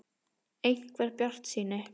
. einhver bjartsýni.